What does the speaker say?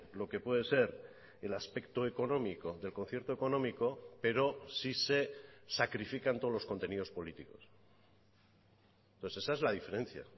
lo que puede ser el aspecto económico del concierto económico pero si se sacrifican todos los contenidos políticos entonces esa es la diferencia